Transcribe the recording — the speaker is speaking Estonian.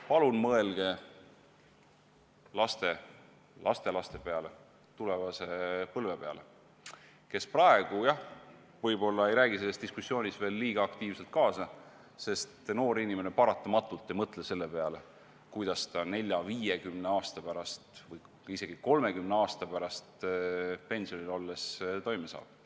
Palun mõelge laste, lastelaste peale, tulevase põlve peale, kes praegu, jah, võib-olla ei räägi selles diskussioonis veel liiga aktiivselt kaasa, sest noor inimene paratamatult ei mõtle selle peale, kuidas ta 40, 50 või isegi 30 aasta pärast pensionil olles toime saab.